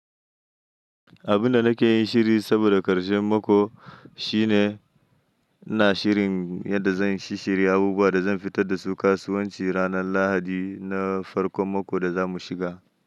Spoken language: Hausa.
Abun da nake yin shiri saboda ƙarshen mako shine ina shirin yanda zan shishshiya abubuwa da zan fitar da su kasuwanci ranar lahadi na farko mako da zamu shiga.